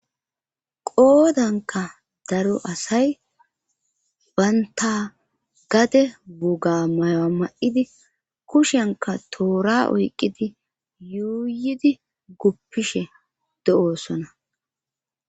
Qoodanka daro asay baynta gade buga mayoa ma'idi kushenka toora oyqqidi yuuyidi guppishe de'oosona